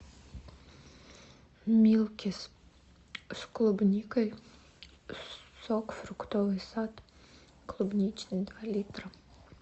милкис с клубникой сок фруктовый сад клубничный два литра